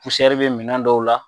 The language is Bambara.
bɛ minɛn dɔw la.